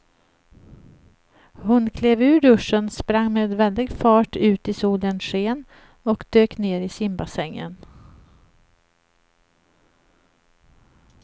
Hon klev ur duschen, sprang med väldig fart ut i solens sken och dök ner i simbassängen.